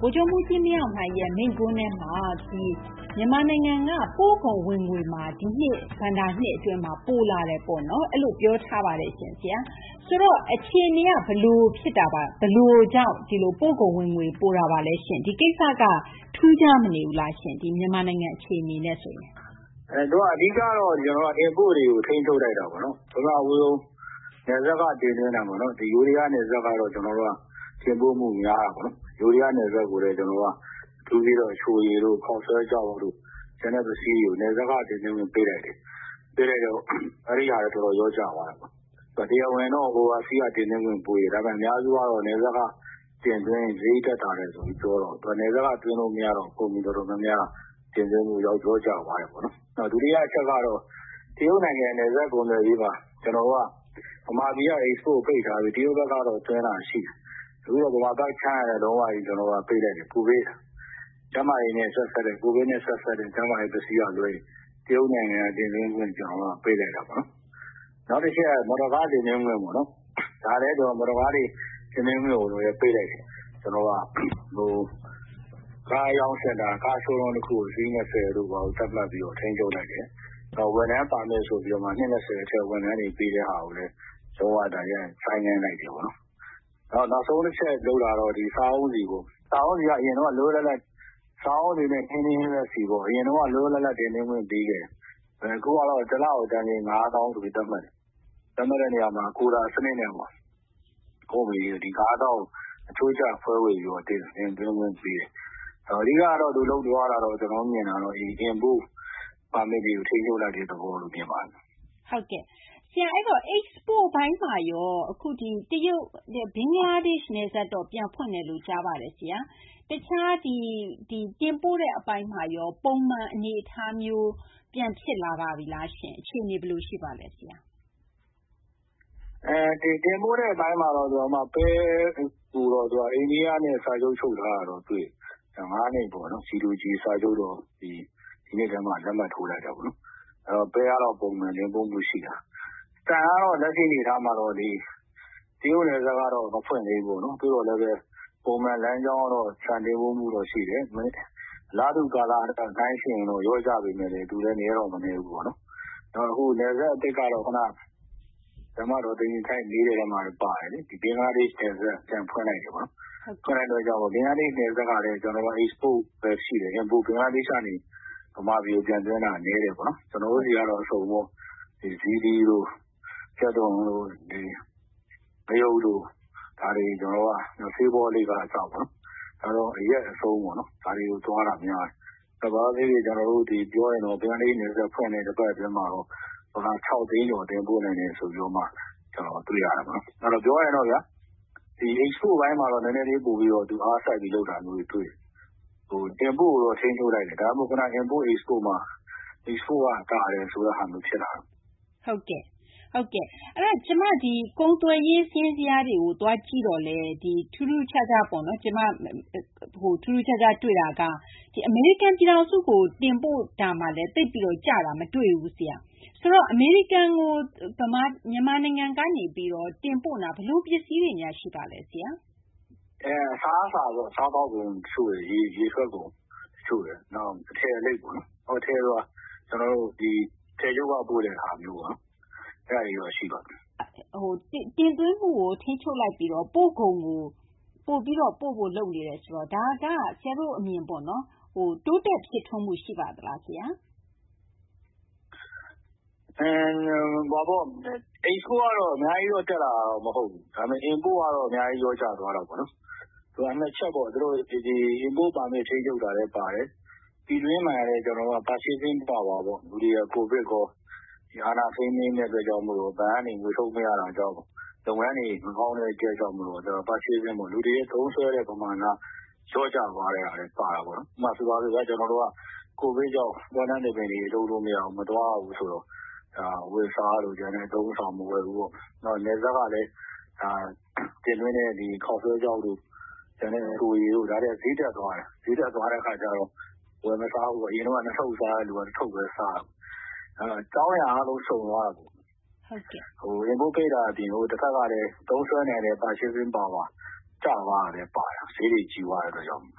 ဗိုလ်ချုပ်မှူးကြီး မင်းအောင်လှိုင်ရဲ့ မိန့်ခွန်းထဲမှာ မြန်မာနိုင်ငံက ပို့ကုန် ဝင်ငွေဟာ ဒီနှစ် ဘဏ္ဍာနှစ် အတွင်းမှာ ပိုလာတယ်လို့ ပြောထားပါတယ်။ ဆိုတော့ အခြေအနေက ဘယ်လို ဖြစ်လို့ ပို့ကုန် ဝင်ငွေ ပိုတာပါလဲရှင့်။ ဒီကိစ္စက ထူးခြားမနေဘူးလားရှင့် မြန်မာနိုင်ငံ အခြေအနေနဲ့ ဆိုရင်။ ဒေါက်တာ စိုးထွန်း။ ။ အဓိက ကတော့ Import တွေကို ထိန်းချုပ်လိုက်တာပေါ့နော်။ ပထမဆုံး နယ်စပ်က တင်သွင်းတာပေါ့နော်။ ဒီ ယိုးဒယား နယ်စပ်ကတော့ တင်ပို့မှုများတာပေါ့။ ယိုးဒယား နယ်စပ်ကိုလည်း အချိုရည်တို့ ခေါက်ဆွဲခြောက်တို့ ကျန်တဲ့ ပစ္စည်းတွေကို နယ်စပ်က တင်သွင်းခွင့် ပိတ်လိုက်တယ်။ ပိတ်လိုက်တော့ အဲဒီဟာ တော်တော် လျော့ကျသွားတယ်။ တရားဝင်တော့ Oversea က တင်သွင်းခွင့် ပေးတယ်။ ဒါပေမယ့် အများစုကတော့ နယ်စပ်က တင်သွင်းရင် စာရိတ် သက်သာတယ်ဆိုပြီး ပြောတကိုး။ နယ်စပ်က တင်သွင်းခွင့် မရတော့ ကုန်စည် တော်တော်များများက တင်သွင်းမှု လျော့ကျသွားတယ်။ ဒုတိယ အချက်ကတော့ တရုတ်နိုင်ငံ နယ်စပ် ကုန်သွယ်ရေးမှာ မြန်မာပြည်က Export ပိတ်ထားပြီး တရုတ်ဘက်ကတော့ သွင်းတာ ရှိတယ်။ အခုတော့ မြန်မာဘက်ခြမ်းကလည်း လုံးဝကြီး ပိတ်လိုက်တယ်။ ကျန်းမာရေးနဲ့ ဆက်စပ်တဲ့ Covid နဲ့ ဆက်စပ်တဲ့ ပစ္စည်းက လွဲရင် တရုတ်နိုင်ငံက တင်သွင်းခွင့် ကျနော်တို့က ပိတ်လိုက်တာပေါ့နော်။ နောက်တချက်ကတော့ မော်တော်ကား တင်သွင်းခွင့်ပေါ့။ ဒါလည်း သူတို့က မော်တော်ကား တင်သွင်းခွင့်ကို ပိတ်လိုက်တယ်။ ကား အရောင်းစင်တာ၊ ကား Showroom တခုကို အစီး ၂၀ တို့ဘာတို့ သတ်မှတ်ပြီးတော့ ထိန်းချုပ်လိုက်တယ်။ ဝန်ထမ်း ပါမစ် ဆိုပြီးတော့မှ နှစ် ၂၀ အထက် ဝန်ထမ်းတွေကို ပေးတာကိုလည်း လုံး၀ ဆိုင်းငံ့လိုက်တယ်ပေါ့နော်။ နောက်ဆုံး တချက် လုပ်တာကတော့ စားအုန်းဆီပေါ့။ စားအုန်းဆီ၊ ဟင်းသီးဟင်းရွက်ဆီ အရင်က လွတ်လွတ်လပ်လပ် တင်သွင်းခွင့် ပေးခဲ့တယ်။ အခုကတော့ တလကို တန်ချိန် ၅ သောင်းဆိုပြီး သတ်မှတ်တယ်။ သတ်မှတ်တဲ့ နေရာမှာ Quota စနစ်နဲ့ ကုမ္ပဏီတွေကို အချိုးကျ ခွဲဝေပြီး တင်သွင်းခွင့် ပေးတယ်။ အဓိက သူလုပ်သွားတာကတော့ ကျနော်တို့ မြင်တာတော့ Import Permit တွေကို ထိန်းချုပ်လိုက်တဲ့ သဘောလို့ မြင်ပါတယ်။ သိင်္ဂ ီထိုက်။ ။ ဟုတ်ကဲ့ရှင့်။ Export ပိုင်းမှာရော ဘင်္ဂလားဒေရှ့် နယ်စပ်တော့ ပြန်ဖွင့်တယ်လို့ ကြားပါတယ်။ တခြား တင်ပို့တဲ့ အပိုင်းမှာရော ပုံမှန် အနေအထားမျိုး ပြန်ဖြစ်လာပါပြီလားရှင့်။ အခြေအနေ ဘယ်လို ရှိပါလဲ။ ဒေါက်တာ စိုးထွန်း။ ။ တင်ပို့တဲ့ အပိုင်းမှာတော့ ပဲ ကိုတော့ အိန္ဒိယနဲ့ စာချုပ် ချုပ်ထားတာတော့ တွေ့တယ်။ ၅ နှစ်ပေါ့နော်။ G to G စာချုပ်ပေါ့။ ဒီနှစ်ထဲမှာ လက်မှတ် ထိုးလိုက်တာပေါ့။ ဒါတော့ ပဲ ကတော့ ပုံမှန် တင်ပို့မှု ရှိတယ်။ ဆန်ကတော့ လက်ရှိ အနေအထားမှာတော့ တရုတ် နယ်စပ်ကတော့ မဖွင့်သေးဘူးပေါ့နော်။ သို့သော်လည်းဘဲ ပုံမှန် လမ်းကြောင်းကတော့ ဆန်တင်ပို့မှုတော့ ရှိတယ်။ အလားတူ ကာလနဲ့ နှိုင်းယှဉ်ရင်တော့ လျော့ကျပေမယ့်လည်း သူလည်း နည်းတော့ မနည်းဘူး။ နယ်စပ်ဂိတ်ကတော့ ဘင်္ဂလားဒေရှ့် နယ်စပ် ပြန်ဖွင့်လိုက်တယ်ပေါ့နော်။ ဖွင့်လိုက်တဲ့ အခါကျတော့ ဘင်္ဂလားဒေရှ့် နယ်စပ်ကလည်း ကျနော်တို့က Export ဘဲ ရှိတယ်။ ဘင်္ဂလားဒေရှ့် ကနေ မြန်မာပြည်ကို ပြန်သွင်းတာ နည်းတယ်ပေါ့နော်။ ကျနော်တို့ဆီကတော့ အစုံပေါ့။ ဇီးသီးတို့ ကြက်သွန်တို့ ငရုတ်တို့ ဒါတွေ ကျနော်တို့က ဆေးပေါ့လိပ်က အစ အရက် အဆုံးပေါ့ ဒါတွေ သွားတာ များတယ်။ ဘင်္ဂလားဒေရှ့် နယ်စပ် ဖွင့်တဲ့ တပတ်မှာတော့ ဒေါ်လာ ၆ သိန်းကျော် တင်ပို့နိုင်တယ် ဆိုပြီးမှ ကျနော်တို့ တွေ့ရတယ်ပေါ့နော်။ ပြောရရင်တော့ဗျာ Export ပိုင်းမှာတော့ သူ နည်းနည်းလေး အားစိုက်ပြီးတော့ လုပ်တာမျိုးတွေ တွေ့တယ်။ Import ကိုတော့ ထိန်းချုပ်လိုက်တယ်။ ဒါကြောင့် ခုန Import – Export မှာ Export က သာတယ်ဆိုတဲ့ ဟာမျိုး ဖြစ်လာတာပေါ့။ သိင်္ဂ ီထိုက်။ ။ ဟုတ်ကဲ့ ကုန်သွယ်ရေး စာရင်း ဇယားတွေကို သွားကြည့်တော့လည်း အမေရိကန် ပြည်ထောင်စုကို တင်ပို့မှုမှာလည်း သိပ်ပြီး ကျတာ မတွေ့ဘူး ဆရာ။ ဆိုတော့ အမေရိကန်ကို မြန်မာနိုင်ငံက တင်ပို့နေတာ ဘယ်လို ပစ္စည်းတွေများ ရှိပါလဲ ဆရာ။ ဒေါက်တာ စိုးထွန်း။ ။ အစားအစာပေါ့။ စားသောက်ကုန်၊ ရေထွက်ကုန် တချို့ရယ်၊ နောက် အထည်အလိပ်ပေါ့နော်။ အထည်ဆိုတာ အထည်ချုပ်က ပို့တဲ့ဟာပေါ့ အဲဒါမျိုးတွေတော့ ရှိပါတယ်။ သိင်္ဂ ီထိုက်။ ။ တင်သွင်းမှုကို ထိန်းချုပ်လိုက်ပြီးတော့ ပို့ကုန်ကို ပိုပြီးတော့ ပို့ဖို့ လုပ်နေတယ်ဆိုတော့ ဒါက ဆရာတို့ အမြင် တိုးတက် ဖြစ်ထွန်းမှု ရှိပါသလား ဆရာ။ ဒေါက်တာ စိုးထွန်း။ ။ Export ကတော့ အများကြီးတော့ တက်လာတာတော့ မဟုတ်ဘူး။ ဒါပေမယ့် Import ကတော့ အများကြီး လျော့ကျသွားတာပေါ့နော်။ ၂ ချက်ပေါ့။ Import Permit ထိန်းချုပ်တာလည်း ပါတယ်။ ပြည်တွင်းမှာလည်း Purchasing Power ပေါ့။ လူတွေဟာ Covid ရော၊ နောက် အာဏာ ထိန်းသိမ်းတဲ့ အတွက် ဘဏ်ကနေ ငွေထုတ် မရတာကြောင့် လုပ်ငန်းတွေ မကောင်းတဲ့ အချက်ကြောင့် လူတွေရဲ့ သုံးစွဲတဲ့ ပမာဏ လျော့ကျသွားတဲ့ ဟာလည်း ပါတာပေါ့နော်။ ဥပမာ ဆိုပါစို့ဗျာ ကျနော်တို့က Covid ကြောင့် ပွဲလမ်း သဘင်တွေ လုပ်လို့ မရဘူး မသွားရဘူးဆိုတော့ အဝတ်အစားတို့ ကျန်တဲ့ အသုံးအဆောင် မဝယ်ဘူးပေါ့။ နောက် နယ်စပ်ကလည်း တင်သွင်းတဲ့ ခေါက်ဆွဲခြောက်တို့ အချိုရည်တို့ ဒါတွေကလည်း ဈေးတက်သွားတယ်။ ဈေးတက်သွားတဲ့ အခါကျတော့ ဝယ်မစားဘူးပေါ့။ အရင်က ၂ ထုပ်စားတဲ့သူက ၁ ထုပ်ဘဲ စားတော့တာပေါ့။ အကြောင်းအရာ အားလုံး စုံသွားတာပေါ့။ Import ပိတ်တာ အပြင်ကို တဖက်ကလည်း သုံးစွဲနိုင်တဲ့ Purchasing Power ကျသွားတာလည်း ပါတာပေါ့။ ဈေးတွေ ကြီးသွားတဲ့ အတွက်ကြောင့်။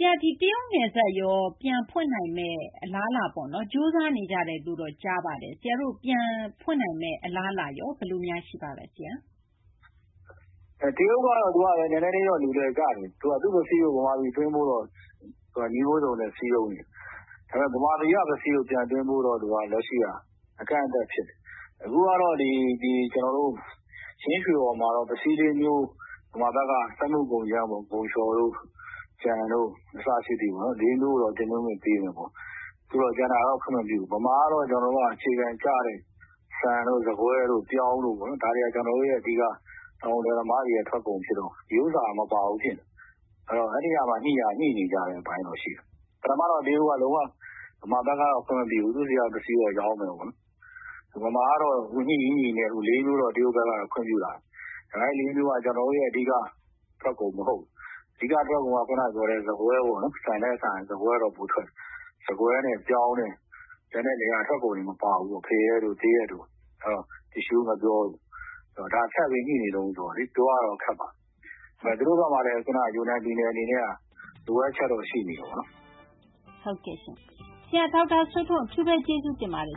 သိင်္ဂ ီထိုက်။ ။ တရုတ် နယ်စပ် ပြန်ဖွင့်နိုင်မယ့် အလားအလာရော။ ကြိုးစားနေကြတယ်လို့တော့ ကြားပါတယ်။ ပြန်ဖွင့်နိုင်မယ့် အခြေအနေ ဘယ်လိုများ ရှိပါလဲ ဆရာ။ ဒေါက်တာ စိုးထွန်း။ ။ တရုတ်ကတော့ နည်းနည်းလေးတော့ လူလည်ကျတယ်။ သူက သူ့ပစ္စည်း ဗမာပြည်ကို သွင်းဖို့ အတွက်တော့ နည်းမျိုးစုံနဲ့ စည်းရုံးနေတယ်။ ဒါပေမယ့် ဗမာပြည်က ပစ္စည်းကို ပြန်သွင်းဖို့တော့ သူက လက်ရှိက အကန့်အသတ် ဖြစ်တယ်။ အခုကတော့ ချင်းရွှေဟော်မှာတော့ ပစ္စည်း ၄ မျိုး - မြန်မာဘက်က စက်မှု ကုန်ကြမ်းပေါ့။ ဂုန်လျှော်တို့ ကြံတို့ အစရှိသည်ပေါ့နော် ၄ မျိုးကိုတော့ တင်သွင်းခွင့် ပေးမယ်ပေါ့။ ကျန်တာကတော့ ခွင့်မပြုဘူး။ မြန်မာကတော့ အခြေခံ ကျတဲ့ ဆန်တို့ ဆန်ကွဲတို့ ပြောင်းတို့ ဒါတွေက တောင်သူ လယ်သမားတွေရဲ့ ထွက်ကုန် ဖြစ်တော့ ဒီဥစ္စာ မပါဘူး ဖြစ်နေတယ်။ အဲဒီဟာပါ ညှိနေကြတဲ့ အပိုင်းတော့ ရှိတယ်။ ပထမတော့ တရုတ်က မြန်မာဘက်က ခွင့်မပြုဘူး။ သူ့ဆီက ပစ္စည်းတော့ ရောင်းမယ်ပေါ့နော်။ မြန်မာဘက်ကတော့ ညှိရင်း ညှိရင်းနဲ့ အခု ၄ မျိုးတော့ တရုတ်ဘက်က ခွင့်ပြုလာပြီ။ ဒါပေမယ့် အဲဒီ ၄ မျိုးက ကျနော်တို့ရဲ့ အဓိက ထွက်ကုန် မဟုတ်ဘူး။ အဓိက ခုန ပြောတဲ့ ဆန်ကွဲပေါ့နော် ဆန်ကွဲနဲ့ ပြောင်းနဲ့ ကျန်တဲ့ လယ်ယာ ထွက်ကုန်တွေ မပါဘူးပေါ့။ ဖရဲတို့ သရက်တို့ တစ်ရှူး ငှက်ပျောတို့။ ဒါတွေ ထပ်ပြီး ညှိနေတုန်း ဆိုတော့ ပြောရတာတော့ ခက်ပါတယ်။ သူတို့ဘက်မှာလည်း ယူနန်ပြည်နယ် အနေနဲ့ လိုအပ်ချက်တော့ ရှိနေတယ်ပေါ့နော်။ သိင်္ဂ ီထိုက်။ ။ ဆရာ ဒေါက်တာ စိုးထွန်း အထူးဘဲ ကျေးဇူးတင်ပါတယ်